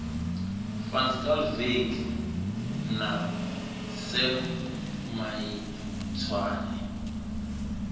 van schalkwyk na sam maitswane